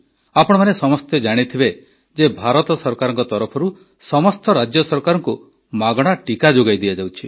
ଆପଣମାନେ ସମସ୍ତେ ଜାଣିଥିବେ ଯେ ଭାରତ ସରକାରଙ୍କ ତରଫରୁ ସମସ୍ତ ରାଜ୍ୟ ସରକାରଙ୍କୁ ମାଗଣା ଟିକା ଯୋଗାଇ ଦିଆଯାଇଛି